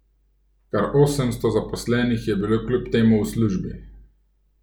Kar osemsto zaposlenih je bilo kljub temu v službi.